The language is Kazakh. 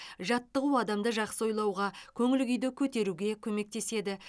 жаттығу адамды жақсы ойлауға көңіл күйді көтеруге көмектеседі